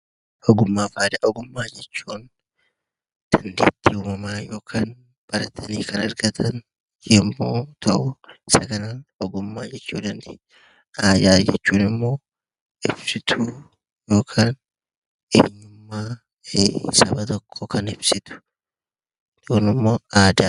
Ogummaa jechuun dandeettii uumamaan yookiin barnootaan argamu yemmuu ta'u, aadaa jechuun immoo ibsituu eenyummaa fi maalummaa saba tokkoo kan ibsu jechuudha.